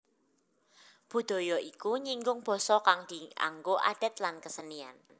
Budaya iku nyinggung basa kang dianggo adat lan kesenian